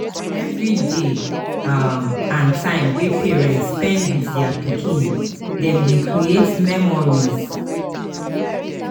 Every day um and time wey parents spend with their pikin dem dey create memories